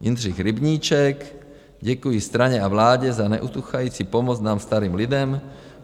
Jindřich Rybníček: Děkuji straně a vládě za neutuchající pomoc nám, starým lidem.